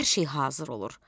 Hər şey hazır olur.